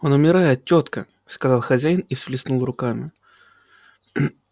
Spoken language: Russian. он умирает тётка сказал хозяин и всплеснул руками